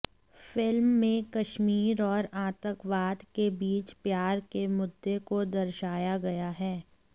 film में कश्मीर और आतंकवाद के बीच प्यार के मुद्दे को दर्शाया गया है